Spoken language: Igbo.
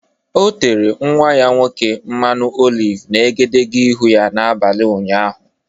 O tere nnwa ya nwoke mmanụ oliv n’egedege ihu n’abalị ụnyaahụ.